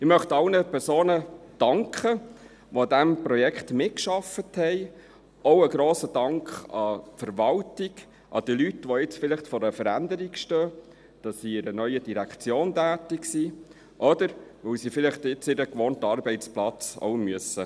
Ich möchte allen Personen danken, die an diesem Projekt mitgearbeitet haben, auch geht ein grosser Dank an die Leute, welche jetzt vor einer Veränderung stehen, dafür, dass sie in einer neuen Direktion tätig sind oder weil sie ihren gewohnten Arbeitsplatz jetzt verlassen müssen.